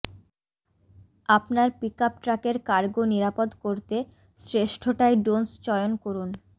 আপনার pickup truck এর cargo নিরাপদ করতে শ্রেষ্ঠ টাই ডোন্স চয়ন করুন